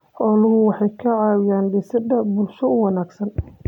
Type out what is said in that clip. Xooluhu waxay ka caawiyaan dhisidda bulsho wanaagsan.